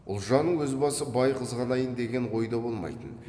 ұлжанның өз басы бай қызғанайын деген ойда болмайтын